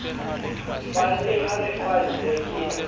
falle ha re falle ke